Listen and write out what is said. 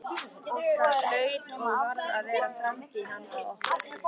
Það hlaut og varð að vera framtíð handa okkur.